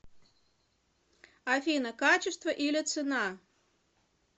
афина качество или цена